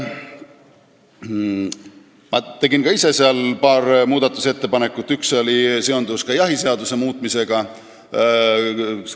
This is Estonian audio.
Ma tegin ka ise paar muudatusettepanekut, üks seondus jahiseaduse muutmisega.